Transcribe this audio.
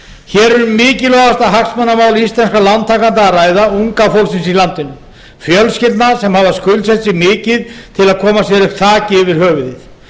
hér er um mikilvægasta hagsmunamál íslenskra lántakenda að ræða unga fólksins í landinu fjölskyldna sem hafa skuldsett sig mikið til að koma sér upp þaki yfir höfuðið